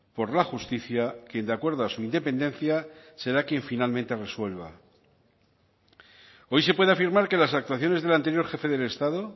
por la justicia quien de acuerdo a su independencia será quien finalmente resuelva hoy se puede afirmar que las actuaciones del anterior jefe del estado